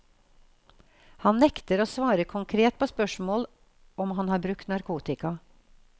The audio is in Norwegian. Han nekter å svare konkret på spørsmål om han har brukt narkotika.